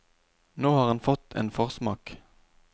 Nå har han fått en forsmak.